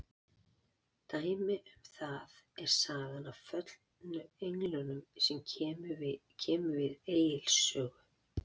Dæmi um það er sagan af föllnu englunum sem kemur við Egils sögu.